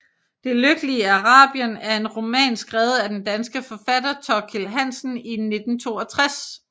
Det lykkelige Arabien er en roman skrevet af den danske forfatter Thorkild Hansen i 1962